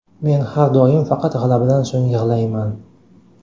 Men har doim faqat g‘alabadan so‘ng yig‘layman.